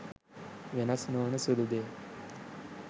වෙනස් නොවන සුළු දෙය